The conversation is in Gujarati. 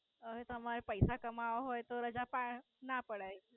હવે તમારે પૈસા કમાવવા હોય તો રજા પાડ ના પડાય.